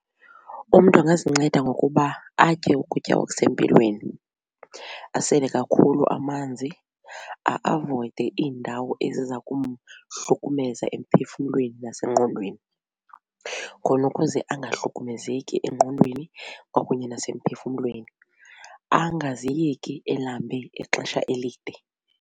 Umntu angazinceda ngokuba atye ukutya okusempilweni, asele kakhulu amanzi, a-avoyide iindawo eziza kumhlukumeza emphefumlweni nasengqondweni khona ukuze angahlukumezeki engqondweni kwakunye nasemphefumlweni angaziyeki elambe ixesha elide.